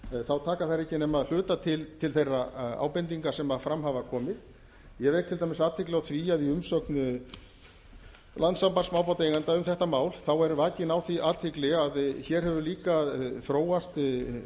þá taka þær ekki nema að hluta til til þeirra ábendinga sem fram hafa komið ég vek til dæmis athygli á því að í umsögn landssambands smábátaeigenda um þetta mál þá er vakin á því athygli að hér hefur líka þróast